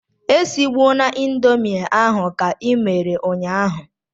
Esigbuna indomie ahụ ka i mere ụnyahụ!